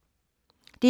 DR2